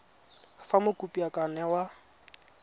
fa mokopi a ka newa